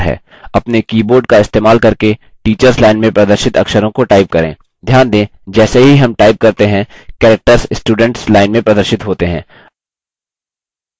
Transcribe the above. अपने keyboard का इस्तेमाल करके teacher line में प्रदर्शित अक्षरों को type करें